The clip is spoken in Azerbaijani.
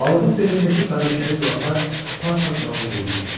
Balığın belindəki bənövşəyi zolaqlar par-par parıldayırdı.